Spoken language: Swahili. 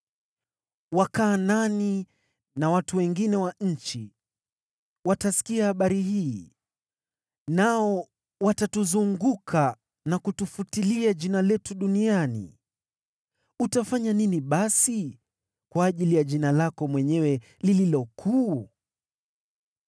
Wakanaani na watu wengine wa nchi watasikia habari hii, nao watatuzunguka na kutufutilia jina letu duniani. Utafanya nini basi kwa ajili ya jina lako mwenyewe lililo kuu?”